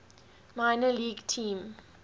minor league team